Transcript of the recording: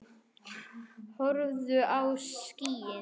Horfðu á skýin.